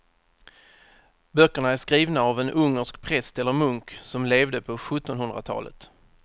Böckerna är skrivna av en ungersk präst eller munk som levde på sjuttonhundratalet.